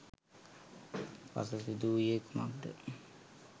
පසු සිදු වූයේ කුමක්ද?